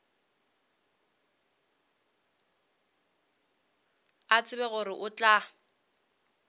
a tseba gore o tla